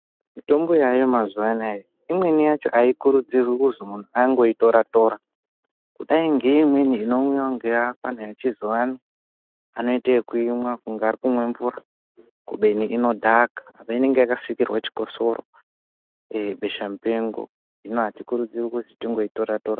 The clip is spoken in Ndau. Mitombo yaayo mazuwanaya imweni yacho aikurudzirwi kuzi munhu angoitora tora kudai ngeimweni inomwiwa ngeafana echizuwano anoite ekuimwa kunga arikumwa mvura kubeni inodhaka apa inenge yakasirirwa chikosoro eee besha mupengo hino aikurudzirwi kuti tingoitora tora.